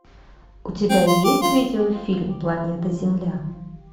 у тебя есть видеофильм планета земля